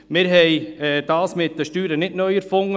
Wir haben das mit den Steuern nicht neu erfunden.